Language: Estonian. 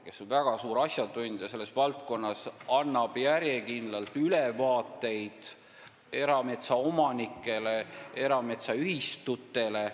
Ta on selles valdkonnas väga suur asjatundja, kes annab järjekindlalt ülevaateid erametsaomanikele, erametsaühistutele.